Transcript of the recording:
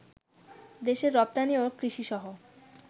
দেশের রপ্তানি ও কৃষিসহ